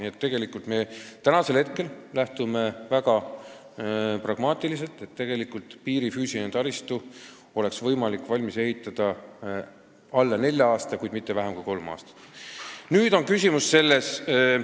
Nii et me praegu lähtume väga pragmaatiliselt väljavaatest, et piiri füüsilise taristu saab valmis ehitada heal juhul kolme aastaga, halval juhul kõige rohkem nelja aastaga.